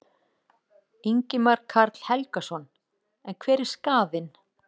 Ingimar Karl Helgason: En hver er skaðinn?